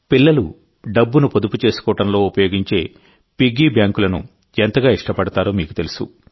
పిల్లలు డబ్బును పొదుపు చేసుకోవడంలో ఉపయోగించే పిగ్గీ బ్యాంకులను ఎంతగా ఇష్టపడతారో మీకు తెలుసు